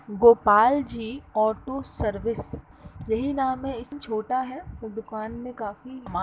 Gopal ji auto service यही नाम है इस छोटा है पर दुकान में काफी माल --